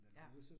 Ja